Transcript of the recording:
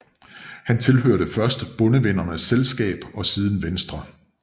Han tilhørte først Bondevennernes Selskab og siden Venstre